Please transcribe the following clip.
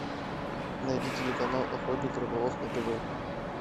найди телеканал охотник рыболов на тв